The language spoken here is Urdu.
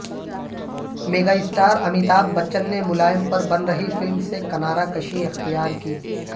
میگا اسٹار امیتابھ بچن نے ملائم پر بن رہی فلم سے کنارہ کشی اختیار کی